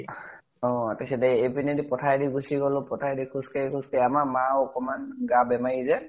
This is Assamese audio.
অ । তাছ্তে এইপিনেদি পথাৰে দি গুছি গলো । পথাৰে দি খোজ কাঢ়ি খোজ কাঢ়ি । আমাৰ মা ও অকনমান গা বেমাৰী যে ।